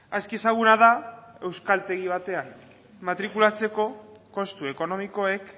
aski ezaguna da euskaltegi batean matrikulatzeko kostu ekonomikoek